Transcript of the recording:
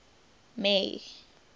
may